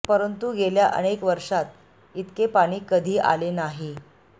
परंतू गेल्या अनेक वर्षात इतके पाणी कधी आले नाही